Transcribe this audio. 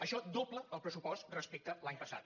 això dobla el pressupost respecte a l’any passat